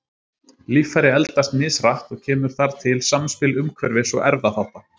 Líffæri eldast mishratt og kemur þar til samspil umhverfis- og erfðaþátta.